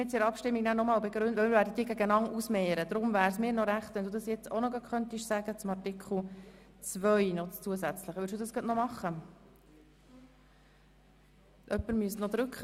Ich beabsichtige, alle drei Anträge gemeinsam beraten zu lassen und sie dann einander gegenübergestellt zur Abstimmung zu bringen.